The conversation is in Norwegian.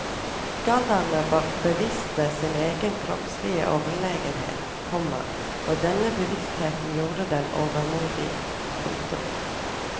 Gallerne var bevisste sin egen kroppslige overlegenhet, komma og denne bevisstheten gjorde dem overmodige. punktum